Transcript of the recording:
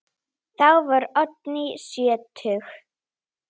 Þá var Oddný sjötug.